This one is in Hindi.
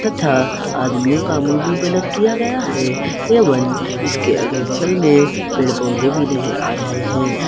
तथा आदमियों का मुंह कलर किए गए हैं एवं इसके अगल बगल में पेड़ पौधे भी नजर आ रहे हैं।